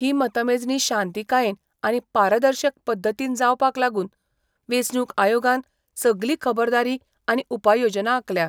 ही मतमेजणी शांतीकायेन आनि पारदर्शक पध्दतीन जावपाक लागून वेचणूक आयोगान सगली खबरदारी आनी उपाययोजना आखल्या.